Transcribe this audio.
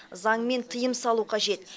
заңмен тыйым салу қажет